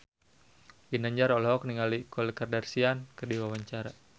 Ginanjar olohok ningali Khloe Kardashian keur diwawancara